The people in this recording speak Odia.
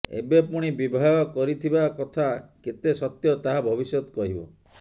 ଏବେ ପୁଣି ବିବାହ କରିଥିବା କଥା କେତେ ସତ୍ୟ ତାହା ଭବିଷ୍ୟତ କହିବ